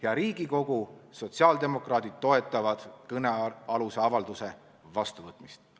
Hea Riigikogu, sotsiaaldemokraadid toetavad kõnealuse avalduse vastuvõtmist.